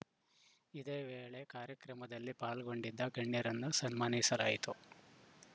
ಇದೇ ವೇಳೆ ಕಾರ್ಯಕ್ರಮದಲ್ಲಿ ಪಾಲ್ಗೊಂಡಿದ್ದ ಗಣ್ಯರನ್ನು ಸನ್ಮಾನಿಸಲಾಯಿತು